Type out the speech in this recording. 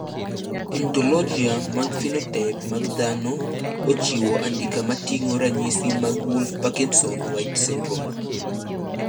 Ontologia mar phenotype mag dhano ochiwo andika moting`o ranyisi mag Wolff Parkinson White syndrome.